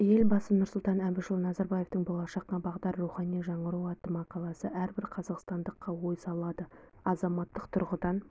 елбасы нұрсұлтан әбішұлы назарбаевтың болашаққа бағдар рухани жаңғыру атты мақаласы әрбір қазақстандыққа ой салады азаматтық тұрғыдан